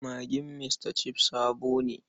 Magin Mr Chef sabo ne.